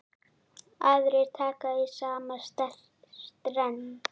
Aðrir taka í sama streng.